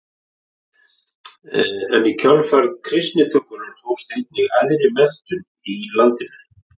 En í kjölfar kristnitökunnar hófst einnig æðri menntun í landinu.